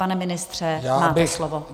Pane ministře, máte slovo.